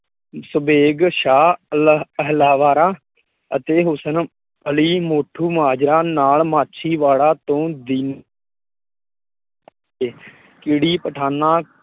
ਸਭੇਗ ਸ਼ਾਹ, ਅਤੇ ਹੁਸਨ ਅਲੀ ਮੋਠੂ ਮਾਜਰਾ ਨਾਲ ਮਾਛੀਵਾੜਾ ਤੋਂ ਦੀ ਕੀੜੀ ਪਠਾਨਾਂ